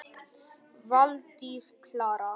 Valdís Klara.